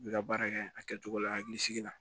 I bɛ ka baara kɛ a kɛcogo la hakilisigi la